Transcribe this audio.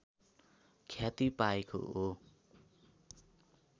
ख्याति पाएको हो